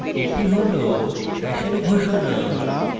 এটি hash hash ঘোষণা